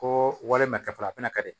Ko walima kɛ fɔlɔ a fana ka di